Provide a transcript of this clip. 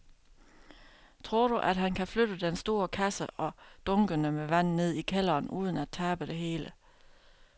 Tror du, at han kan flytte den store kasse og dunkene med vand ned i kælderen uden at tabe det hele?